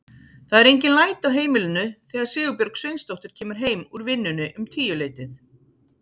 Það eru engin læti á heimilinu þegar Sigurbjörg Sveinsdóttir kemur heim úr vinnunni um tíuleytið.